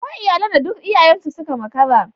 Akwai iyalan da duk iyayen suka makara.